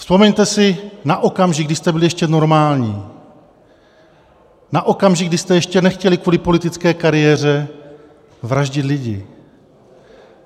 Vzpomeňte si na okamžik, kdy jste byli ještě normální, na okamžik, kdy jste ještě nechtěli kvůli politické kariéře vraždit lidi.